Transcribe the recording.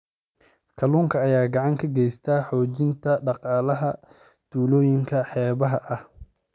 Kalluunka ayaa gacan ka geysta xoojinta dhaqaalaha tuulooyinka xeebaha ah.